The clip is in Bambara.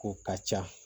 Ko ka ca